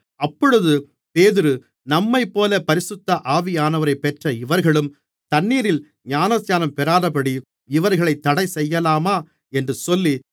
அப்பொழுது பேதுரு நம்மைப்போல பரிசுத்த ஆவியானவரைப் பெற்ற இவர்களும் தண்ணீரில் ஞானஸ்நானம் பெறாதபடி இவர்களைத் தடைசெய்யலாமா என்று சொல்லி